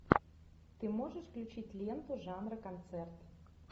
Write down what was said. ты можешь включить ленту жанра концерт